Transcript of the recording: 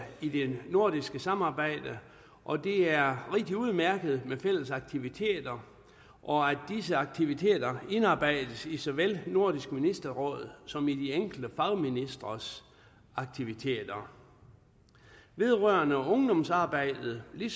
i det nordiske samarbejde og det er rigtig udmærket med fælles aktiviteter og at disse aktiviteter indarbejdes i så vel nordisk ministerråd som i de enkelte fagministres aktiviteter vedrørende ungdomsarbejdet vil